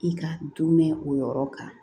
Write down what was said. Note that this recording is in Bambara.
I ka dunmɛ o yɔrɔ kan